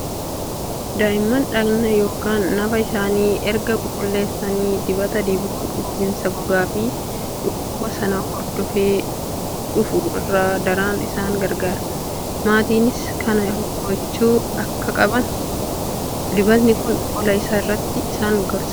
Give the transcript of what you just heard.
Daa'imman dhaqna yookiin nafa isaanii erga qulqulleessanii dibata dibuun gogiinsa gogaa fi dhukkuba sana hordofee dhufu irraa daran isaan gargaara. Maatiinis kana gochuu akka qaban dibatni kun qola isaa irratti isaan gorsa.